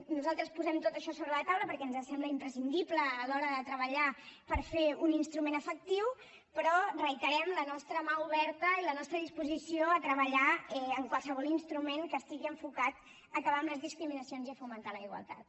nosaltres posem tot això sobre la taula perquè ens sembla imprescindible a l’hora de treballar per fer ne un instrument efectiu però reiterem la nostra mà oberta i la nostra disposició a treballar amb qualsevol instrument que estigui enfocat a acabar amb les discriminacions i a fomentar la igualtat